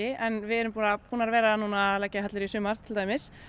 en við erum búnar að búnar að vera núna að leggja hellur í sumar til dæmis